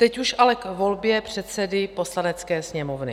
Teď už ale k volbě předsedy Poslanecké sněmovny.